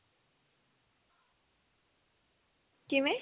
ਕਿਵੇਂ